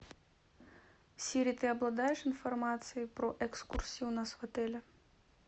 сири ты обладаешь информацией про экскурсии у нас в отеле